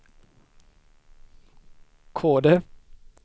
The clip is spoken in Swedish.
Kode